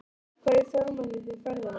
Hvernig fjármagnið þið ferðina?